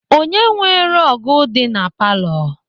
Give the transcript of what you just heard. Onye nwe rọọgụ dị na palọ?